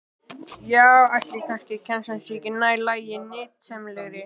Já, ætli kennslan sé ekki nær lagi og nytsamlegri?